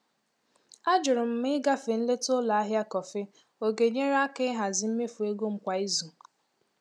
Ajụrụ m ma ịgafe nleta ụlọ ahịa kọfị ọ ga-enyere aka ịhazi mmefu ego m kwa izu.